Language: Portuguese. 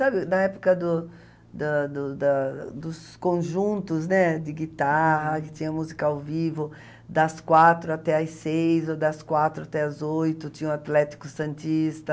Sabe, na época do da do da dos conjuntos, né, de guitarra, que tinha música ao vivo, das quatro até as seis, ou das quatro até as oito, tinha o Atlético Santista...